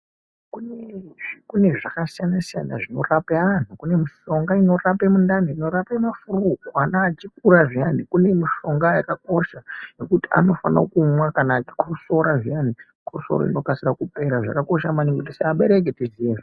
Kune zvakasiyana siyana zvinorape anhu kune mishonga inorape mundani inorape ma flue. Ana echikura zviya kune mishonga yakakosha yekuti anofanire kumwa kana achikosra zviyani chikosoro chinokasire kupera, zvakakosha meningi kuti se abereki tikwanise kuzviziya izvozvo.